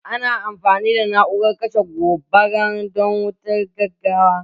Ana amfani da na'urar kashe gobara don wutar gaggawa